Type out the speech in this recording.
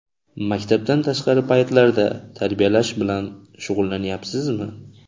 Maktabdan tashqari paytlarda tarbiyalash bilan shug‘ullanyapsizmi?